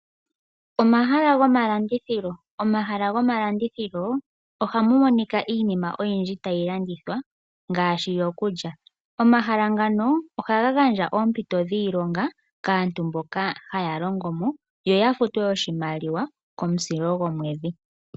Omahala gomalandithilo, omahala gomalandithilo ohamu monika iinima oyindji tayi landithwa ngaashi yokulya. Omahala ngano ohaga gandja oompito dhiilonga kaantu mboka haya longo mo yo ya futwe oshimaliwa komusilo gwomwedhi.